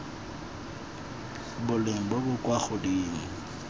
boleng bo bo kwa godimo